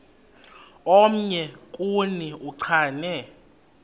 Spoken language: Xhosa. omnye kuni uchane